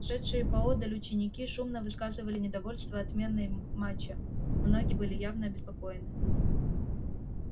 шедшие поодаль ученики шумно высказывали недовольство отменой матча многие были явно обеспокоены